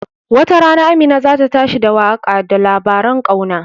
wata rana Amina zata tashi da waka daga labaran ƙauna